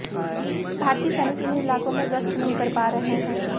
भारतीय सैनिक इन इलाकों में गश्त नहीं कर पा रहे हैं